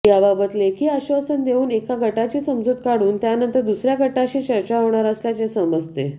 याबाबत लेखी आश्वासन देऊन एका गटाची समजूत काढून त्यानंतर दुसर्या गटाशी चर्चा होणार असल्याचे समजते